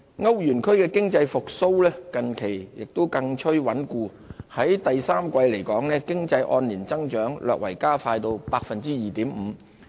歐元區的經濟復蘇近期更趨穩固，第三季經濟按年增長略為加快至 2.5%。